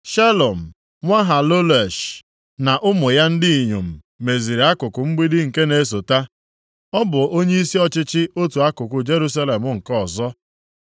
Shalum nwa Halohesh na ụmụ ya ndị inyom meziri akụkụ mgbidi nke na-esota. Ọ bụ onyeisi ọchịchị otu akụkụ Jerusalem nke ọzọ.